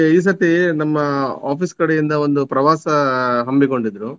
ಈ ಸರ್ತಿ ನಮ್ಮ office ಕಡೆಯಿಂದ ಒಂದು ಪ್ರವಾಸ ಹಮ್ಮಿಕೊಂಡಿದ್ರು.